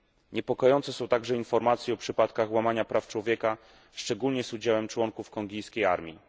Niepokojące są także informacje o przypadkach łamania praw człowieka, szczególnie z udziałem członków kongijskiej armii.